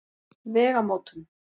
Vegamótum